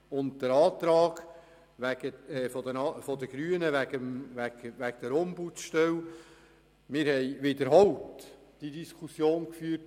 Betreffend den Antrag zur Ombudsstelle: Diese Diskussion haben wir wiederholt geführt.